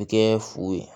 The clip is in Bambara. Kɛ fu ye